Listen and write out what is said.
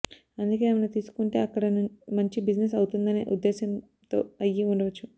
అందుకే ఆమెను తీసుకుంటే అక్కడ మంచి బిజినెస్ అవుతుందనే ఉద్దేశ్యంతో అయ్యి ఉండవచ్చు